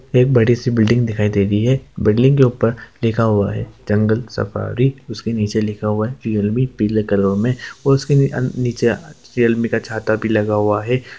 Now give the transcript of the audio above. एक बड़ी-सी बिल्डिंग दिखाई दे रही है| बिल्डिंग के ऊपर लिखा हुआ है जंगल सफारी | उसके नीचे लिखा हुआ है रियलमी पीले कलर में और उसके अं-नीचे आ रियलमी का छाता भी लगा हुआ है।